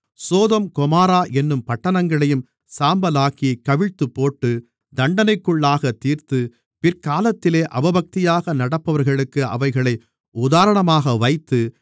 Sodom Gomorrah என்னும் பட்டணங்களையும் சாம்பலாக்கிக் கவிழ்த்துப்போட்டு தண்டனைக்குள்ளாகத் தீர்த்து பிற்காலத்திலே அவபக்தியாக நடப்பவர்களுக்கு அவைகளை உதாரணமாக வைத்து